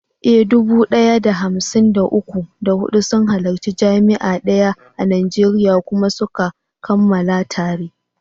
Eh, dubu ɗaya da hamsin da uku, da huɗu sun halarci jami’a daya a Najeriya kuma suka kammala tare.